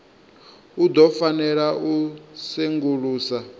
u ḓo fanela u sengulusa